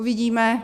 Uvidíme.